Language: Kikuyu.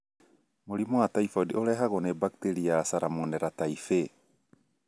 Mũrimũ wa typhoid ũrehagwo nĩ bakteria ya Salmonella Typhi